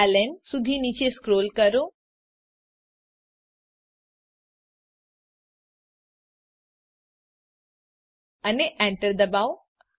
println સુધી નીચે scroll કરો અને Enter દબાવો